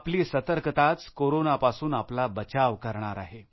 आपली सतर्कताच कोरोनापासून आपला बचाव करणार आहे